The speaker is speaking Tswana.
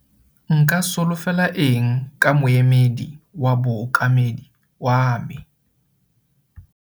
Nka solofela eng ka Moemedi wa bookamedi wa me?